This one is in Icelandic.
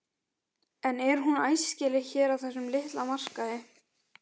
En er hún æskileg hér á þessum litla markaði?